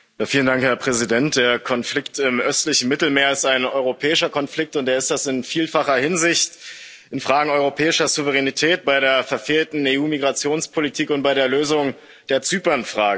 Herr Präsident, der Konflikt im östlichen Mittelmeer ist ein europäischer Konflikt, und er ist das in vielfacher Hinsicht in Fragen europäischer Souveränität, bei der verfehlten EU Migrationspolitik und bei der Lösung der Zypernfrage.